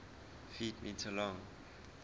ft m long